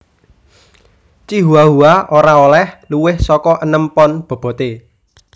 Chihuahua ora olèh luwih saka enem pon boboté